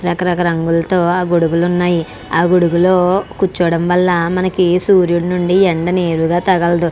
రక రక గొడుగులు ఉన్నాయ్. ఆ గొడుగులు ఉండటం వాల చాల బాగుంటుంది.